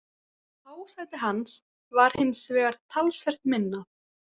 Hásæti hans var hins vegar talsvert minna.